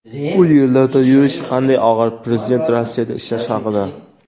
u yerlarda yurish qanday og‘ir – Prezident Rossiyada ishlash haqida.